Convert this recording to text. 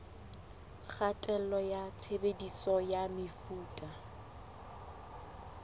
kgatello ya tshebediso ya mefuta